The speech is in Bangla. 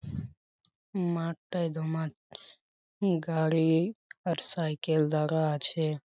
মাঠটায় দমা গাড়ি-ই আর সাইকেল দাগা আছে-এ ।